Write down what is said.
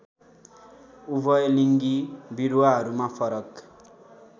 उभययलिङ्गी बिरुवाहरूमा फरक